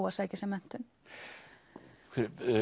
að sækja sér menntun